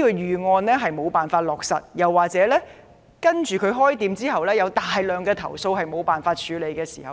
如果商店無法落實管理預案或開店後有大量投訴卻無法處理，便應向